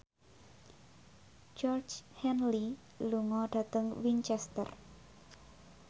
Georgie Henley lunga dhateng Winchester